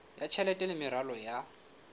ya tjhelete le meralo ya